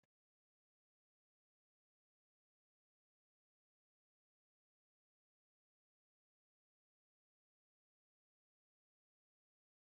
tini leeltanni noo misile maaati yiniro biifinse danchu kaamerinni haa'noonnita leellishshanni nonketi xuma ikkase addi addi akata amadaseeti yaate